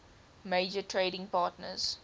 major trading partners